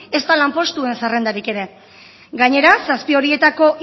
ezta lanpostuen zerrendarik ere gainera zazpi horietako